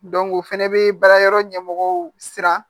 o fɛnɛ bɛ baara yɔrɔ ɲɛmɔgɔw siran